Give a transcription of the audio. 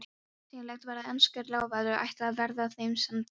Bersýnilegt var að enskur lávarður ætlaði að verða þeim samferða.